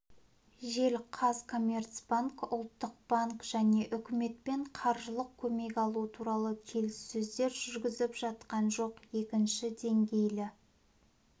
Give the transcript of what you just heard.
жел қазкоммерцбанк ұлттық банк және үкіметпен қаржылық көмек алу туралы келіссөздер жүргізіп жатқан жоқ екінші деңгейлі